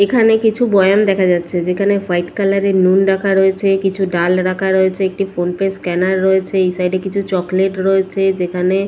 এখানে কিছু বয়ান দেখা যাচ্ছে যেখানে হোয়াইট কালার এর নুন রাখা রয়েছে কিছু ডাল রাখা রয়েছে একটি ফোন পে স্ক্যানার রয়েছে এই সাইট - এ কিছু চকলেট রয়েছে যেখানে--